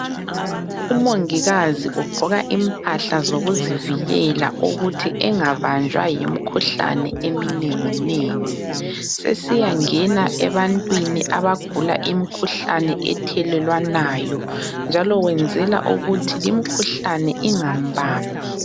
Umongikazi ugqoka impahla zokuzivikela ukuthi engabanjwa yimikhuhlane eminengi nengi, sesiya ngena ebantwini abagula imikhuhlane ethelelwanayo njalo wenzela ukuthi limkhuhlane ingambambi.